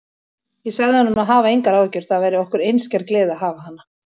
Ég sagði honum að hafa engar áhyggjur, það væri okkur einskær gleði að hafa hana.